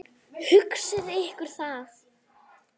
Hugsið ykkur það.